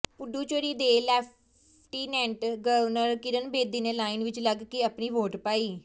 ਪੁਡੂਚੇਰੀ ਦੀ lieutenant governor Kiran Bedi ਨੇ line ਵਿੱਚ ਲੱਗ ਕੇ ਆਪਣੀ ਵੋਟ ਪਾਈ